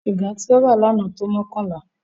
Sìgá tí ó rà lánàá tó mọ́kànlá.